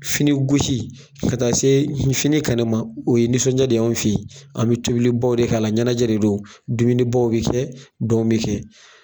Fini gosi ka taa se fini kɛnɛ ma o ye nisɔndiya de anw fe ye. An be tobilibaw de k'a la ɲanajɛ de don, dumunibaw be kɛ, dɔnw be kɛ.